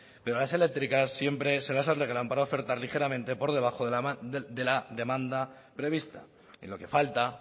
pero las eléctricas siempre se las alegran para ofertar ligeramente por debajo de la demanda prevista en lo que falta